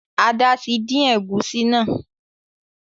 Ada tí dín egusi náa